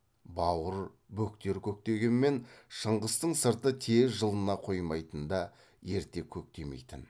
бауыр бөктер көктегенмен шыңғыстың сырты тез жылына қоймайтын да ерте көктемейтін